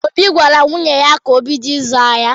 Obi gwara nwunye ya ka o bido ịzụ ahịa.